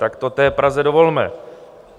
Tak to té Praze dovolme!